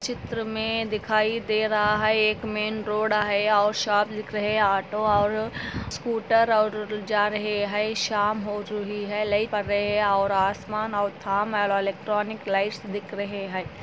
चित्र में दिखाई दे रहा है एक में रोड है और शॉप लिख रहे हैं ऑटो और स्कूटर और जा रहे हैं शाम हो रही है लाइट पर है और आसमान और थम वाला इलेक्ट्रॉनिक लाइट्स दिखाइए--